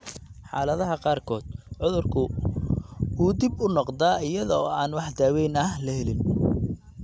Xaaladaha qaarkood, cudurku wuu dib u noqdaa iyada oo aan wax daaweyn ah la helin.